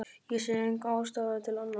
Ég sé enga ástæðu til annars.